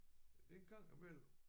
Det en gang imellem